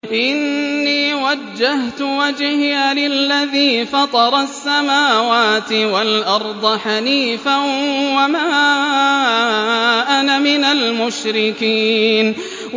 إِنِّي وَجَّهْتُ وَجْهِيَ لِلَّذِي فَطَرَ السَّمَاوَاتِ وَالْأَرْضَ حَنِيفًا ۖ وَمَا أَنَا مِنَ الْمُشْرِكِينَ